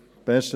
Besten